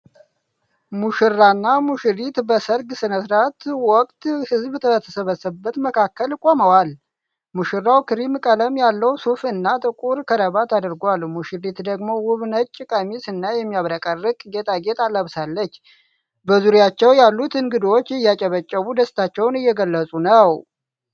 ሙሽራና ሙሽሪት በሰርግ ስነ-ስርዓት ወቅት ሕዝብ በተሰበሰበበት መካከል ቆመዋል። ሙሽራው ክሬም ቀለም ያለው ሱፍ እና ጥቁር ከረባት አድርጓል። ሙሽሪት ደግሞ ውብ ነጭ ቀሚስ እና የሚያብረቀርቅ ጌጣጌጥ ለብሳለች። በዙሪያቸው ያሉት እንግዶች እያጨበጨቡ ደስታቸውን እየገለጹ ነው።